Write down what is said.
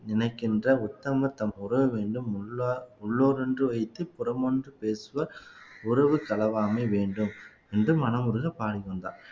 நினைக்கின்ற உத்தம தன் உறவு வேண்டும் உள்ளா உள்ளோர் ஒன்று வைத்து புறமொன்று பேசுவர் உறவு கலவாமை வேண்டும் என்று மனமுருக பாடிக்கொண்டார்